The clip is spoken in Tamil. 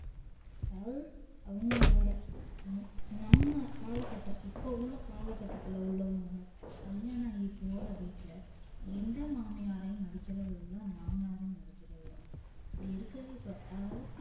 யாரு அவுங்களோட நம்ம கால கட்டோம் இப்போ உள்ள கால கட்டத்துல உள்ளவங்க கல்யாணாய் போற வீட்டுல எந்த மாமியாரையும் மதிக்கிறது இல்ல மாமனாரையும் மதிக்கிறது இல்ல அப்டி இருக்குது இப்போ